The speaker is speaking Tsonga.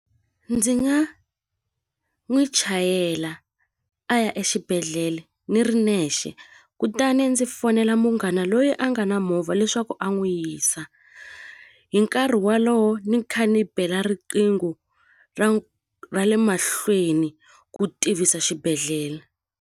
Ndzi nga n'wi chayela a ya exibedhlele ni ri nexe kutani ndzi fonela munghana loyi a nga na movha leswaku a n'wi yisa hi nkarhi wolowo ni kha ni bela riqingho ra ra le mahlweni ku tivisa xibedhlele.